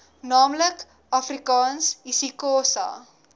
naamlik afrikaans isixhosa